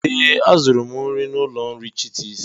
ee, azụrụ m nri n'ụlọ nri chitis